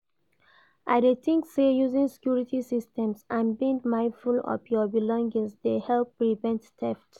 I dey think say using security systems and being mindful of your belongings dey help prevent theft.